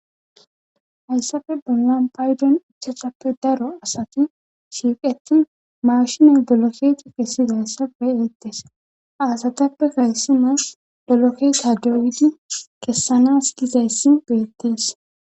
hayssafe bollan paydon ichashappe daro asati shiiqeti maashime dolokeeti kessiza hayssafe eettees aasatappe kayssimo dolokethadoydi kessanas gizayssi beettees